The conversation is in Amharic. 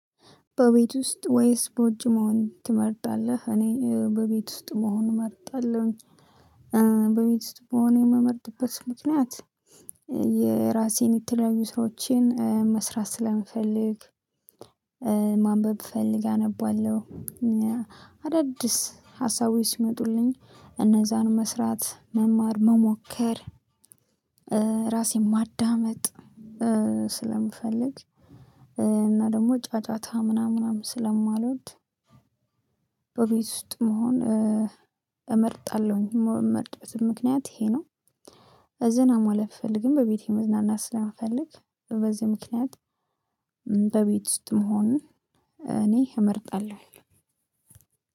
በቤት ውስጥ ወይስ በውጭ መሆን ትመርጣለህ? እኔ በቤት ውስጥ መሆን እመርጣለሁኝ። በቤት ዉስጥ የምመርጥበት ምክንያት የራሴን የተለያዩ ስራዎችን መስራት ስለምፈልግ። ማንበብ ብፈልግ አነባለሁ። አዳዲስ ሀሳቦች ይመጡልኝ እነዛን መስራት መማር መሞከር። ራሴን ማዳመጥ ስለምፈልግ እና ደግሞ ጫጫታ ምናምን ምናምን ስለማልወድ። በቤት ውስጥ መሆን እመርጣለሁኝ የምመርጥበት ምክንያት ይሄ ነው። ዘና ማለት ብፈልግም በቤቴ መዝናናት ስለምፈለግ በዚህ ምክንያት። በቤት ውስጥ መሆን እኔ እመርጣለሁ።